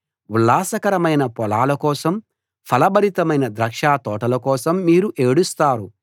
ఉల్లాసకరమైన పొలాల కోసం ఫలభరితమైన ద్రాక్ష తోటల కోసం మీరు ఏడుస్తారు